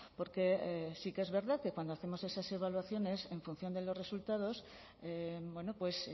porque sí que es verdad que cuando hacemos esas evaluaciones en función de los resultados bueno pues